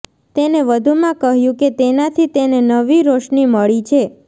તેને વધુમાં કહ્યું કે તેનાથી તેને નવી રોશની મળી છે